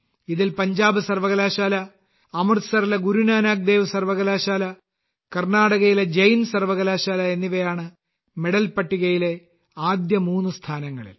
ഇതിൽ പഞ്ചാബ് സർവകലാശാല അമൃത്സറിലെ ഗുരു നാനാക് ദേവ് സർവകലാശാല കർണാടകയിലെ ജെയിൻ സർവകലാശാല എന്നിവയാണ് മെഡൽ പട്ടികയിൽ ആദ്യ മൂന്ന് സ്ഥാനങ്ങളിൽ